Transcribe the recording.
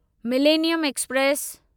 millennium express